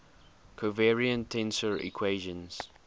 covariant tensor equations